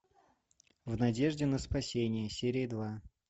в надежде на спасение серия два